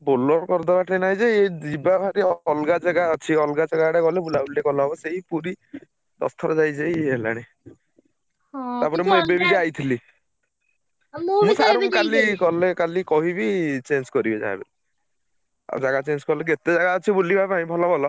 Bolero କରିଦବା ଠେଇଁ ନାହିଁ ଯେ ଏଇ ଯିବା ଭାରି ଅଲଗା ଜେଗା ଅଛି।